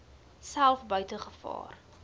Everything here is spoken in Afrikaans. self buite gevaar